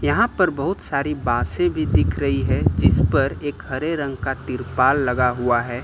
यहां पर बहुत सारी बाँसें भी दिख रही है जिस पर एक हरे रंग का तिरपाल लगा हुआ है।